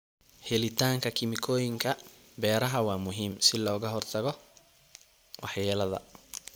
Helitaanka kiimikooyinka beeraha waa muhiim si looga hortago waxyeellada.